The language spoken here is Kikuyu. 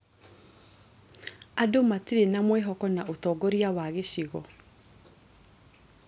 Andũ matirĩ na mwĩhoko na ũtongoria wa gĩcigo